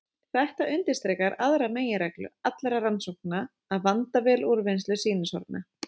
Þetta undirstrikar aðra meginreglu allra rannsókna: að vanda vel úrvinnslu sýnishorna.